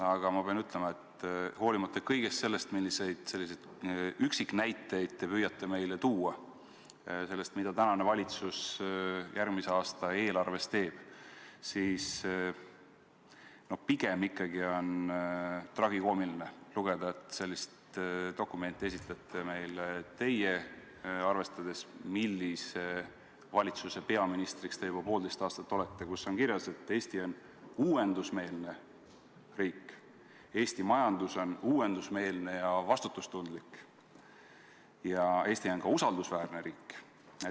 Aga ma pean ütlema, et olenemata sellest, milliseid üksiknäiteid te püüate meile tuua selle kohta, mida tänane valitsus järgmise aasta eelarves teeb, on arvestades seda, millise valitsuse peaminister te juba poolteist aastat olete, ikkagi pigem tragikoomiline, et te esitlete meile dokumenti, kus on kirjas, et Eesti on uuendusmeelne riik, Eesti majandus on uuendusmeelne ja vastutustundlik ja Eesti on ka usaldusväärne riik.